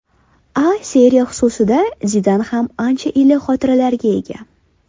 A Seriya xususida Zidan ham ancha iliq xotiralarga ega.